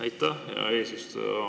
Aitäh, hea eesistuja!